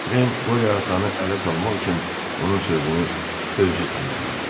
Voterin Qorya atanı ələ salmaq üçün onun sözünü özü tamamladı: